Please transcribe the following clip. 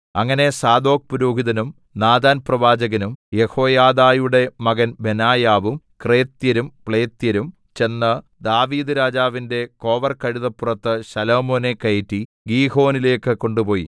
അങ്ങനെ സാദോക്പുരോഹിതനും നാഥാൻപ്രവാചകനും യെഹോയാദയുടെ മകൻ ബെനായാവും ക്രേത്യരും പ്ലേത്യരും ചെന്ന് ദാവീദ്‌രാജാവിന്റെ കോവർകഴുതപ്പുറത്ത് ശലോമോനെ കയറ്റി ഗീഹോനിലേക്ക് കൊണ്ടുപോയി